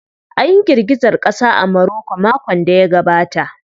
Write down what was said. An yi girgizar ƙasa a Maroko makon da ya gabata.